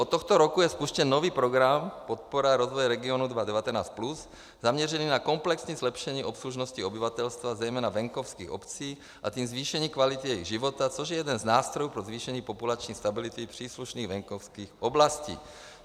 Od tohoto roku je spuštěn nový program Podpora rozvoje regionů 2019+, zaměřený na komplexní zlepšení obslužnosti obyvatelstva, zejména venkovských obcí, a tím zvýšení kvality jejich života, což je jeden z nástrojů pro zvýšení populační stability příslušných venkovských oblastí.